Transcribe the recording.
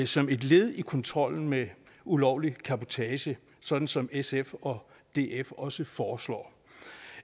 som et led i kontrollen med ulovlig cabotage sådan som sf og df også foreslår